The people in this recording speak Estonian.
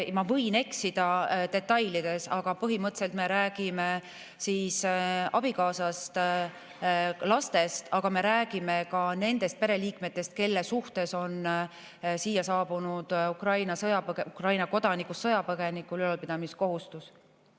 Ma võin eksida detailides, aga põhimõtteliselt me räägime abikaasast ja lastest, aga me räägime ka nendest pereliikmetest, kelle suhtes on siia saabunud Ukraina kodanikust sõjapõgenikul ülalpidamiskohustus.